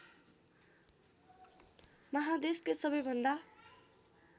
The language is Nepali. माहादेशकै सबैभन्दा